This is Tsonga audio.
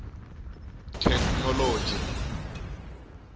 theknoloji